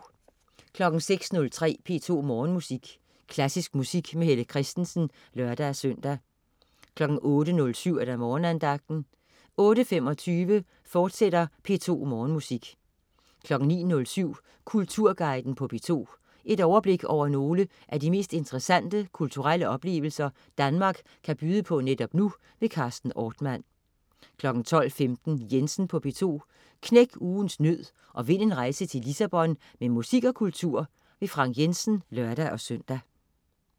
06.03 P2 Morgenmusik. Klassisk musik med Helle Kristensen (lør-søn) 08.07 Morgenandagten 08.25 P2 Morgenmusik, fortsat 09.07 Kulturguiden på P2. Overblik over nogle af de mest interessante kulturelle oplevelser, Danmark kan byde på netop nu. Carsten Ortmann 12.15 Jensen på P2. Knæk ugens nød og vind en rejse til Lissabon med musik og kultur. Frank Jensen (lør-søn)